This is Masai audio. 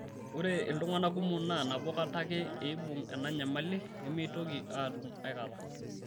Ore iltung'ana kumok naa nabo kata ake eibung' ena nyamali nemeitoki aatum akata.